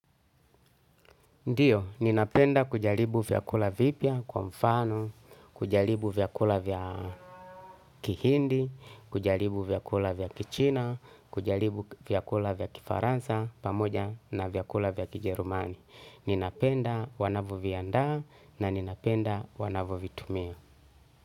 Ndiyo, ninapenda kujalibu vyakula vipia kwa mfano, kujalibu vyakula vya kihindi, kujalibu vyakula vya kichina, kujalibu vyakula vya kifaransa pamoja na vyakula vya kijerumani. Ninapenda wanavo vianda na ninapenda wanavu vitumia.